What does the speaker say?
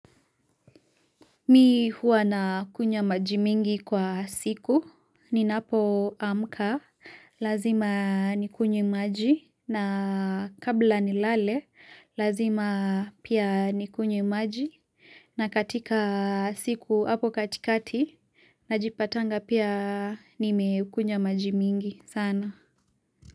Mi huwa nakunywa maji mingi kwa siku, ninapoamka, lazima nikunywe maji, na kabla nilale, lazima pia nikunywe maji, na katika siku, hapo katikati, najipatanga pia nimekunyws maji mingi sana.